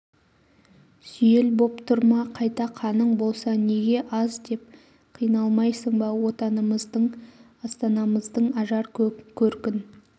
сүйел боп тұр ма қайта қаның болса неге аз деп қиналмайсың ба отанымыздың астанамыздың ажар-көркін